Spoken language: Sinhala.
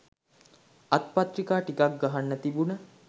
අත්පත්‍රික ටිකක් ගහන්න තිබුන